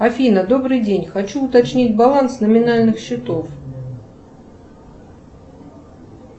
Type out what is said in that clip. афина добрый день хочу уточнить баланс номинальных счетов